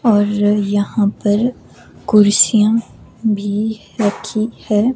और यहां पर कुर्सियां भी रखी है।